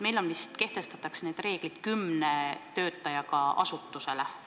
Meil vist kehtestatakse need reeglid kümne töötajaga asutusele.